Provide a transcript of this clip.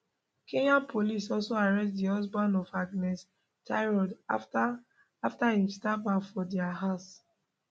kenyan police also arrest di husband of agnes tirop afta afta im stab her for dia house